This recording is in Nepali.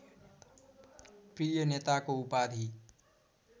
प्रिय नेताको उपाधि